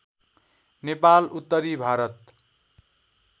नेपाल उत्तरी भारत